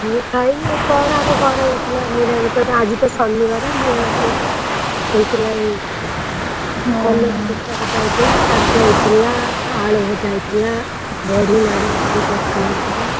ମୁଁ ଖାଇନି, ଏଇ କଣ ଆମ ଘରେ ହେଇଥିଲା, ନିରାମିଷତ ଆଜିତ ଶନିବାର ନିରାମିଷ ହେଇଥିଲା, କଲରା ଗୋଟା ଭଜା ହେଇଥିଲା, ଶାଗ ହେଇଥିଲା, ଆଳୁ ଭଜା ହେଇଥିଲା, ବଢି ନାଡି ପଡିକି ତରକାରୀ ହେଇଥିଲା!